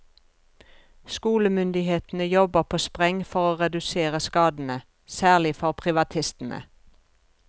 Skolemyndighetene jobber på spreng for å redusere skadene, særlig for privatistene.